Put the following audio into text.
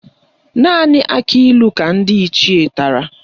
Naanị akịlụ ka ndị Ichie tara